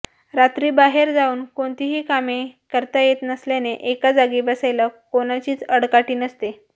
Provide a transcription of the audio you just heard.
रात्री बाहेर जाऊन कोणतीही कामे करता येत नसल्याने एका जागी बसायला कोणाचीच आडकाठी नसते